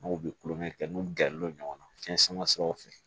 N'u bɛ kulonkɛ kɛ n'u gɛrɛ l'o ɲɔgɔn na fiyɛn sama siraw fɛ